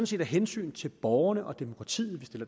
set af hensyn til borgerne og demokratiet